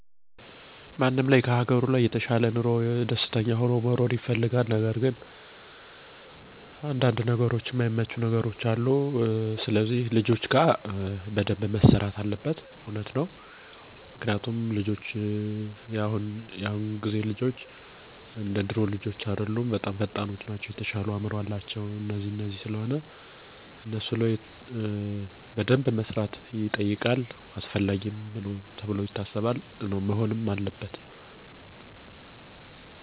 ሀገራቸው ላይ ደስተኛ ሁኖ መኖር መቻል። የተሻለው ለውጥ መምጣት ያለበት ደሞ ልጆች ላይ ነው። ይሄ ለውጥ የሚጀምረው ደሞ ልጆች ግብረገብ ላይ ትልቅ ለውጥ ሲኖር ነው።